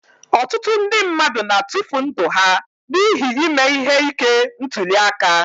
Ọtụtụ ndị mmadụ na-atufụ ndụ ha n'ihi ime ihe ike ntuli aka.